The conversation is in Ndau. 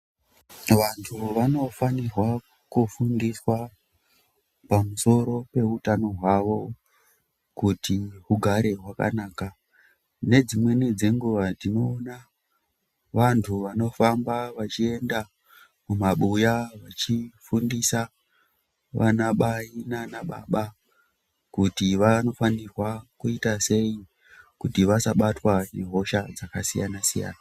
Vantu vanofanirwa kufundiswa pamusoro peutano hwavo, kuti hugare hwakanaka, nedzimweni dzenguwa tinoona vantu vanofamba vachienda kumabuya vachifundisa vana mai nana baba, kuti vanofanirwa kuyita sei kuti vasabatwa nehosha dzakasiyana-siyana.